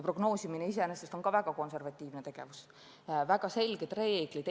Prognoosimine iseenesest on väga konservatiivne tegevus, selleks on väga selged reeglid.